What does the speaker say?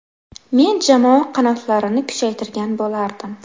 Men jamoa qanotlarini kuchaytirgan bo‘lardim.